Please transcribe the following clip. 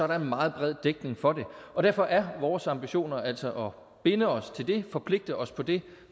der en meget bred dækning for det og derfor er vores ambitioner altså at binde os til det forpligte os på det